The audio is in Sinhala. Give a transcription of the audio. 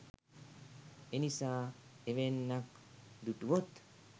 එනිසා එවැන්නක් දු‍ටුවොත්